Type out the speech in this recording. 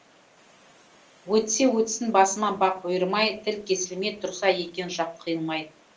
өтсе өтсін басыма бақ бұйырмай тіл кесілмей тұрса екен жақ қиылмай